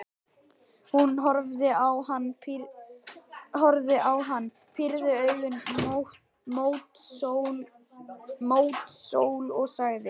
Hún horfði á hann, pírði augun mót sól og sagði: